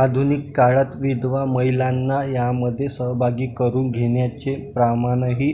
आधुनिक काळात विधवा महिलांना यामध्ये सहभागी करून घेण्याचे प्रमाणही